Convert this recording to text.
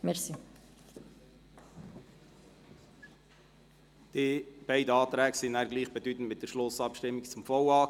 Diese beiden Anträge sind gleichbedeutend mit der Schlussabstimmung zum VA.